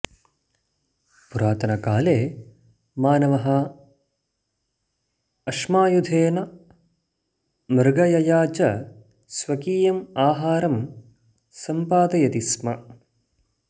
पुरातनकाले मानवः अश्मायुधेन मृगयया च स्वकीयम् आहारं सम्पादयति स्म